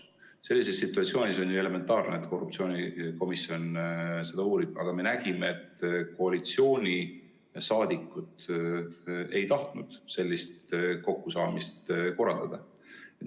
Sellises situatsioonis on ju elementaarne, et korruptsioonikomisjon seda uurib, aga me nägime, et koalitsiooniliikmed ei tahtnud sellist kokkusaamist korraldada.